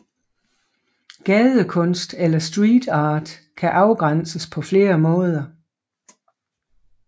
Gadekunst eller street art kan afgrænses på flere måder